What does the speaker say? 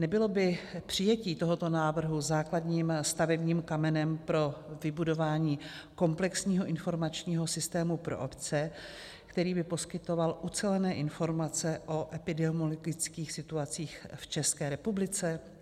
Nebylo by přijetí tohoto návrhu základním stavebním kamenem pro vybudování komplexního informačního systému pro obce, který by poskytoval ucelené informace o epidemiologických situacích v České republice?